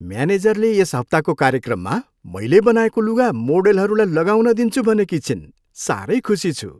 म्यानेजरले यस हप्ताको कार्यक्रममा मैले बनाएको लुगा मोडेलहरूलाई लगाउन दिन्छु भनेकी छिन्। साह्रै खुसी छु।